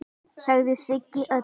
sagði Siggi Öddu.